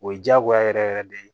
O ye diyagoya yɛrɛ yɛrɛ de ye